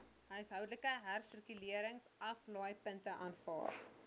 huishoudelike hersirkuleringsaflaaipunte aanvaar